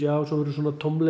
og svo verður svona tómleiki